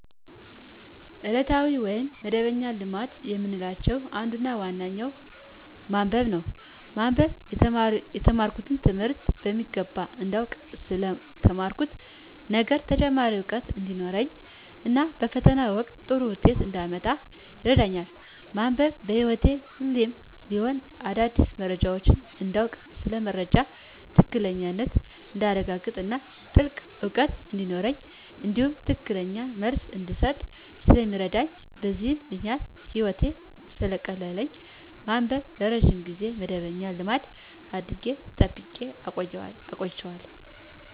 ከዕለታዊ ወይም መደበኛ ልማድ ከምላቸው አንዱና ዋነኛው ማንበብ ነው። ማንበብ የተማርኩትን ትምህርት በሚገባ እንዳውቅ ስለ ተማርኩት ነገር ተጨማሪ እውቀት እንዲኖረኝ እና በፈተና ወቅት ጥሩ ውጤት እንዳመጣ ይረዳኛል። ማንበብ በህይወቴ ሁሌም ቢሆን አዳዲስ መረጃዎችን እንዳውቅ ስለ መረጃዎች ትክክለኛነት እንዳረጋግጥ እና ጥልቅ እውቀት እንዲኖረኝ እንዲሁም ትክክለኛ መልስ እንድሰጥ ስለሚረዳኝ በዚህም ምክንያት ህይወቴን ሰለቀየረልኝ ማንበብን ለረጅም ጊዜ መደበኛ ልማድ አድርጌ ጠብቄ አቆይቸዋለሁ።